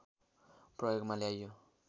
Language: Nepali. प्रयोगमा ल्याइयो